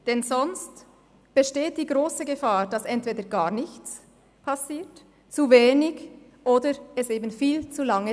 Denn sonst besteht die grosse Gefahr, dass entweder gar nichts oder zu wenig geschieht, oder aber es dauert viel zu lange.